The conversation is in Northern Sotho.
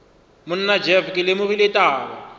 monna jeff ke lemogile taba